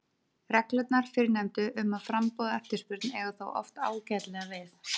Reglurnar fyrrnefndu um framboð og eftirspurn eiga þó oft ágætlega við.